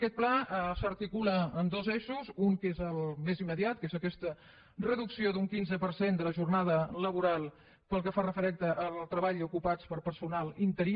aquest pla s’articula en dos eixos un que és el més immediat que és aquesta reducció d’un quinze per cent de la jornada laboral pel que fa referència al treball ocupat per personal interí